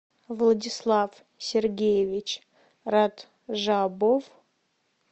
владислав сергеевич раджабов